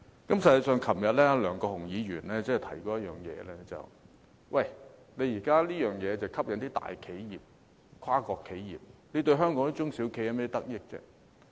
實際上，昨天梁國雄議員提到一點，現時這項政策只吸引大企業和跨國企業，對香港的中小企有何得益呢？